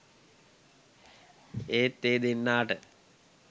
ඒත් ඒ දෙන්නාට